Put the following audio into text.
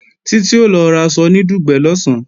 Títí o lọ raṣọ ní Dùgbẹ̀ lọ̀sán